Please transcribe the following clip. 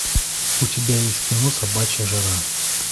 у тебя есть кино собачья жара